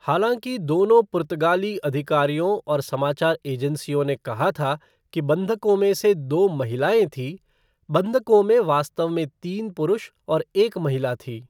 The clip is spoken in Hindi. हालांकि दोनों पुर्तगाली अधिकारियों और समाचार एजेंसियों ने कहा था कि बंधकों में से दो महिलाएँ थीं, बंधकों में वास्तव में तीन पुरुष और एक महिला थी।